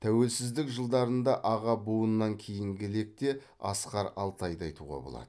тәуелсіздік жылдарында аға буыннан кейінгі лекте асқар алтайды айтуға болады